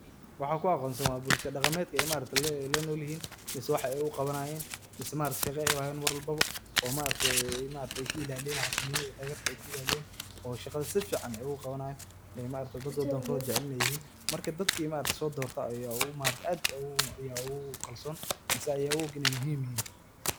Waxan ku aqoonsan wa bulsha daqameetka aynolyahin, mise wax at u qawanayen mise maaragtay shaqoo malbo u hayan oo maargtay ka ilaliyan xasunimada dagarta ay ka ilaliyan oo shaqada sufican ay u qawanayan ee maaragtay dad wadangotha jaceel intayahin marga dadka sodoirtay Aya maaragtay aad ugu kalsoon mise aya u oog inay muhim yahin .